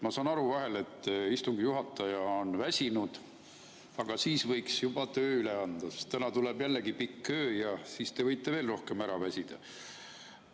Ma saan aru vahel, et istungi juhataja on väsinud, aga siis võiks juba töö üle anda, sest täna tuleb jällegi pikk öö ja siis te võite veel rohkem ära väsida.